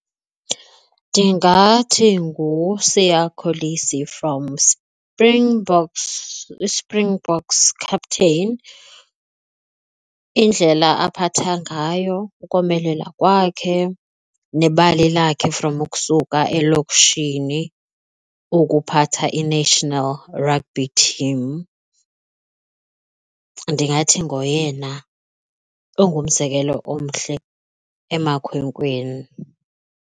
Ndingathi nguSiya Kolisi from Springboks, Springboks captain, indlela aphatha ngayo, ukomelela kwakhe nebali lakhe from ukusuka elokishini ukuphatha i-national rugby team. Ndingathi ngoyena ongumzekelo omhle amakhwenkweni.